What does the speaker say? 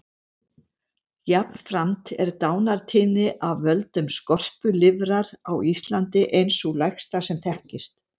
Jafnframt er dánartíðni af völdum skorpulifrar á Íslandi ein sú lægsta sem þekkist.